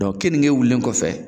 kenike wulilen kɔfɛ